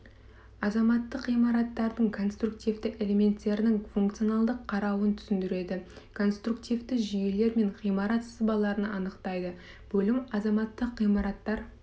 азаматтық ғимараттардың конструктивті элементтерінің функционалдық қарауын түсіндіреді конструктивті жүйелер мен ғимарат сызбаларын анықтайды бөлім азаматтық ғимараттар